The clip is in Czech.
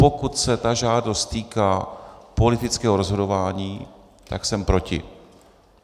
Pokud se ta žádost týká politického rozhodování, tak jsem proti.